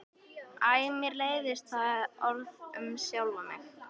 Æ mér leiðist það orð um sjálfa mig.